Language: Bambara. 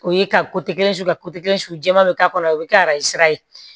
O ye ka su ka suɲɛ bɛ k'a kɔnɔ o bɛ kɛ a sira ye